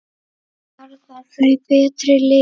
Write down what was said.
Verða þau betri lið?